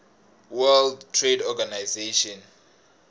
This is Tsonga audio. world trade organization